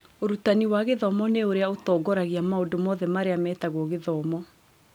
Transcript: Ũrutani wa gĩthomo nĩ ũrĩa ũtongoragia maũndũ mothe marĩa metagwo gĩthomo.